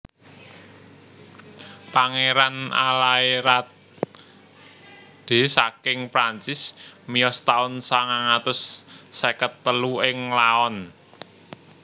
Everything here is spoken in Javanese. Pangéran Alâerade saking Prancis miyos taun sangang atus seket telu ing Laon